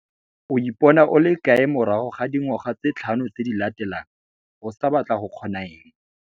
O ipona o le kae morago ga dingwaga tse tlhano tse di latelang? O sa batla go kgona eng?